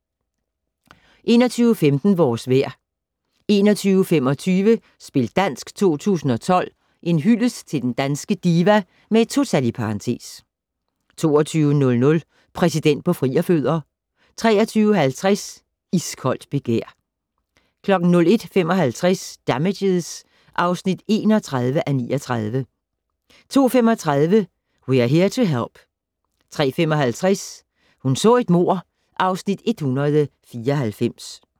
21:15: Vores vejr 21:25: Spil dansk 2012 - En hyldest til den danske diva (2) 22:00: Præsident på frierfødder 23:50: Iskoldt begær 01:55: Damages (31:39) 02:35: We're Here to Help 03:55: Hun så et mord (Afs. 194)